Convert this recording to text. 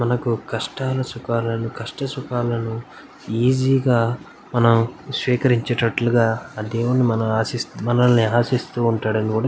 మనకు కష్టాలు సుఖాలు కాస్త సుఖాలను ఈజీగా మనం సేఖరించేటట్టులుగా ఆ దేవుడు మనం ఆశిశు ఆశిష్టునట్లుగా.